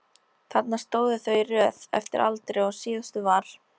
Þarna stóðu þau í röð eftir aldri og síðastur var